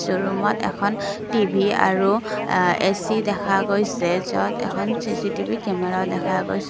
ৰূমত এখন টি_ভি আৰু এ_চি দেখা গৈছে য'ত এখন চি_চি_টি_ভি কেমেৰাও দেখা গৈছে।